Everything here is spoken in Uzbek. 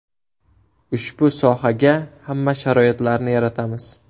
Ushbu sohaga hamma sharoitlarni yaratamiz.